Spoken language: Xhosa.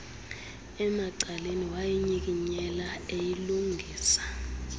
emacaleni wayinyikinyela eyilungisa